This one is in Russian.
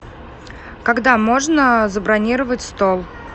когда можно забронировать стол